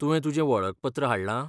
तुवें तुजें वळखपत्र हाडलां?